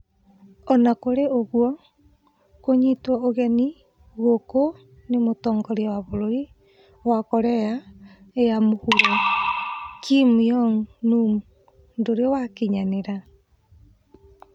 Ona kũrĩ ũgwo, kũnyitwo ũgeni gũkũ nĩ mũtongoria wa bũrũri wa Korea ya Mũhuro Kim Yong Num ndũrĩ wakinyanĩra